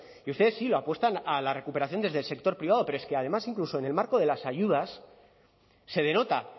y ustedes sí lo apuestan a la recuperación desde el sector privado pero es que además incluso en el marco de las ayudas se denota